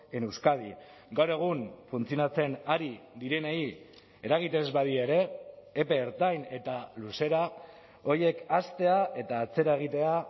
en euskadi gaur egun funtzionatzen ari direnei eragiten ez badira ere epe ertain eta luzera horiek haztea eta atzera egitea